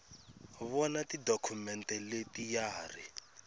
vona tidokhumente leti ya ri